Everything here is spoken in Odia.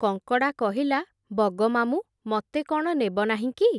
କଙ୍କଡ଼ା କହିଲା, ବଗମାମୁଁ, ମତେ କ’ଣ ନେବ ନାହିଁ କି ।